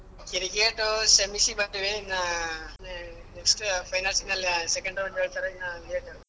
Cricket ಸೆಮಿಸಿಗ್ ಬಂದೀವಿ ಇನ್ನ ಅಹ್ next finals ಮೇಲೆ second round ಹೇಳ್ತಾರೆ ಇನ್ನಾ late ಉಂಟು.